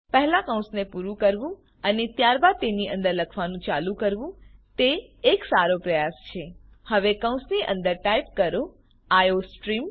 પહેલા કૌંસને પૂરું કરવું અને ત્યારબાદ તેની અંદર લખવાનું ચાલુ કરવું તે એક સારો પ્રયાસ છે હવે કૌંસની અંદર ટાઈપ કરો આઇઓસ્ટ્રીમ